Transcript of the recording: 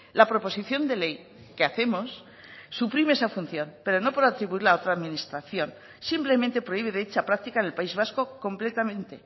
la proposición de ley que hacemos suprime esa función pero no por atribuirla a otra administración simplemente prohíbe dicha práctica en el país vasco completamente